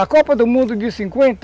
A Copa do Mundo de cinquenta